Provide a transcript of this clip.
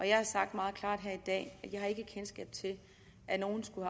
jeg har sagt meget klart her i dag at jeg ikke har kendskab til at nogen skulle